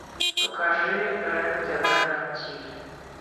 покажи рен тв на тиви